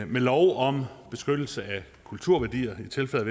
med lov om beskyttelse af kulturværdier i tilfælde